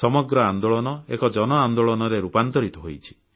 ସମଗ୍ର ଆନ୍ଦୋଳନ ଏକ ଜନ ଆନ୍ଦୋଳନରେ ରୂପାନ୍ତରିତ ହୋଇଛି